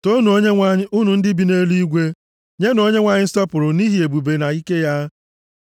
Toonu Onyenwe anyị, unu ndị bi nʼeluigwe, nyenụ Onyenwe anyị nsọpụrụ nʼihi ebube na ike ya.